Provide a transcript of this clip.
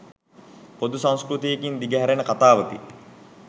පොදු සංස්කෘතියකින් දිග හැරෙන කතාවකි.